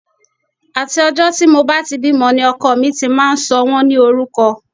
Àti ọjọ́ tí mo bá ti bímọ ni ọkọ mi ti máa ń sọ wọ́n ní orúkọ